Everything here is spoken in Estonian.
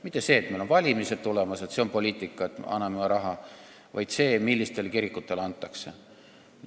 Mitte nii, et meil on valimised tulemas ja poliitika on raha anda, vaid poliitika on see, millistele kirikutele antakse.